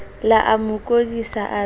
le amo kodisa a be